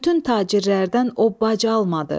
Bütün tacirlərdən o bac almadı.